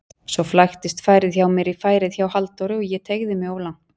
Svo flæktist færið hjá mér í færið hjá Halldóri og ég teygði mig of langt.